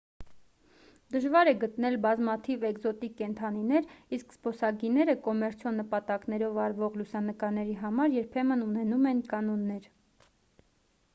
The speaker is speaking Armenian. դժվար է գտնել բազմաթիվ էկզոտիկ կենդանիներ իսկ զբոսայգիները կոմերցիոն նպատակներով արվող լուսանկարների համար երբեմն ունենում են կանոններ